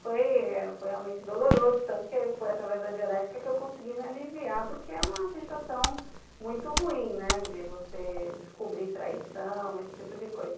Foi foi realmente doloroso, tanto que foi através da Dianética que eu consegui me aliviar, porque é uma sensação muito ruim, né, de você descobrir traição, esse tipo de coisa.